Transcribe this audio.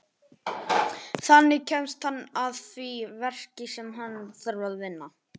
Þannig kemst hann að því verki sem hann þarf að vinna.